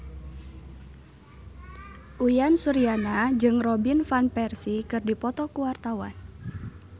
Uyan Suryana jeung Robin Van Persie keur dipoto ku wartawan